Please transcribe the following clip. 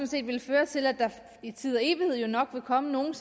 set ville føre til at der i tid og evighed nok vil komme nogle